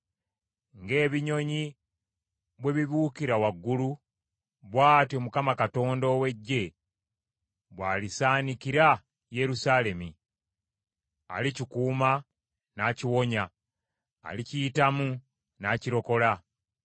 Ng’ebinyonyi bwe bibuukira waggulu, bw’atyo Mukama Katonda ow’Eggye bw’alisaanikira Yerusaalemi; alikikuuma, n’akiwonya, alikiyitamu n’akirokola.”